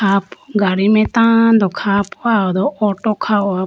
apo gadi mai tando kha po ah ho do auto kha ho po.